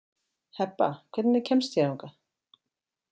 Hebba, hvernig kemst ég þangað?